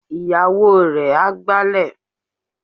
Ìyàwó rẹ̀ á gbálẹ̀.